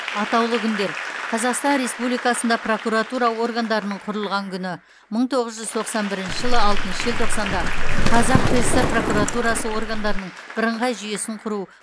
атаулы күндер қазақстан республикасында прокуратура органдарының құрылған күні мың тоғыз жүз тоқсан бірінші жылы алтыншы желтоқсанда қазақ кср прокуратурасы органдарының бірыңғай жүйесін құру